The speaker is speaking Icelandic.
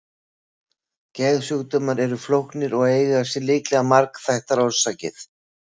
Geðsjúkdómar eru flóknir og eiga sér líklega margþættar orsakir.